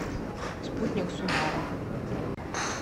спутник субару